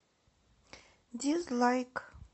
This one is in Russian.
дизлайк